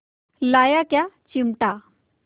लाया क्या चिमटा